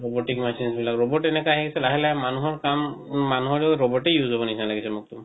robotic machine বিলাক robot তেনেকোৱা আহিছে লাহে লাহে মনুহৰ কাম মানুহৰেও robot ই হৱ নিচিনা লাগি মোৰতো